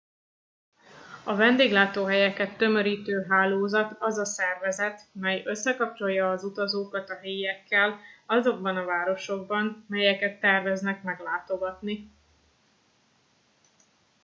a vendéglátóhelyeket tömörítő hálózat az a szervezet mely összekapcsolja az utazókat a helyiekkel azokban a városokban melyeket terveznek meglátogatni